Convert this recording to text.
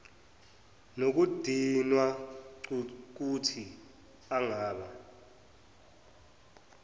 nokudinwa cukuthi angaba